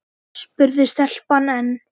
spurði stelpan enn.